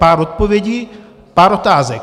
Pár odpovědí, pár otázek.